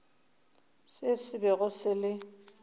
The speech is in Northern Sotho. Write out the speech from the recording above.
se se bego se le